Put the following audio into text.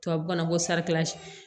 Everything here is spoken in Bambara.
Tubabu na ko